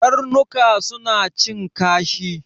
Karnuka suna cin ƙashi.